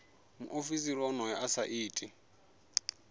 muofisiri onoyo a sa iti